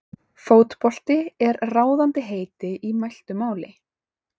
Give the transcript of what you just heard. Fótbolti er ráðandi heiti í mæltu máli.